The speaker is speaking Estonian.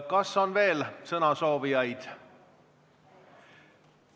Kas on veel sõnasoovijaid?